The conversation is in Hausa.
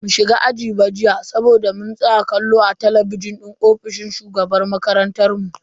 Bamu shiga aji ba jiya saboda mun tsaya kallo a talabijin din ofishin shugaban makarantan mu.